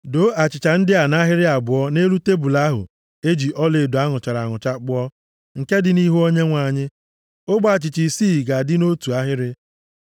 Doo achịcha ndị a nʼahịrị abụọ nʼelu tebul ahụ e ji ọlaedo a nụchara anụcha kpụọ, nke dị nʼihu Onyenwe anyị. Ogbe achịcha isii ga-adị nʼotu ahịrị.